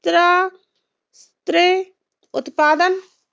त्र त्रे उत्पादन